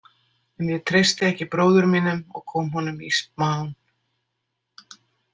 En ég treysti ekki bróður mínum og kom honum í smán.